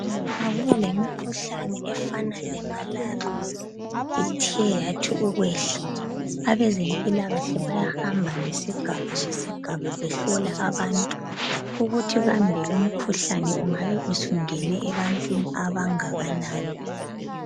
Nxa kulemikhuhlane efana leMalaria ethe yathi ukwehla, abezempilakahle bayahamba ngesigaba ngesigaba behlola abantu ukuthi kambe lumkhuhlane ungabe usungene ebantwini abangakanani.